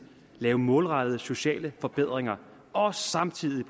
lave målrettede sociale forbedringer og samtidig